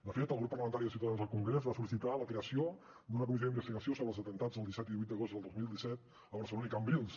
de fet el grup parlamentari de ciutadans al congrés va sol·licitar la creació d’una comissió d’investigació sobre els atemptats del disset i el divuit d’agost del dos mil disset a barcelona i cambrils